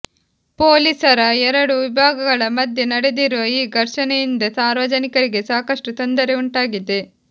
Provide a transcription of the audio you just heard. ಪೊಲೀಸರ ಎರಡು ವಿಭಾಗಗಳ ಮಧ್ಯೆ ನಡೆದಿರುವ ಈ ಘರ್ಷಣೆಯಿಂದ ಸಾರ್ವಜನಿಕರಿಗೆ ಸಾಕಷ್ಟು ತೊಂದರೆ ಉಂಟಾಗಿದೆ